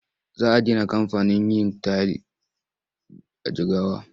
Za a gina kamfanin yin tayil a Jigawa.